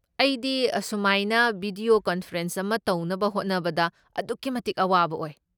ꯑꯩꯗꯤ ꯑꯁꯨꯃꯥꯏꯅ video conference ꯑꯃ ꯇꯧꯅꯕ ꯍꯣꯠꯅꯕꯗ ꯑꯗꯨꯛꯀꯤ ꯃꯇꯤꯛ ꯑꯋꯥꯕ ꯑꯣꯏ꯫